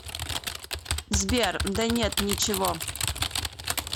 сбер да нет ничего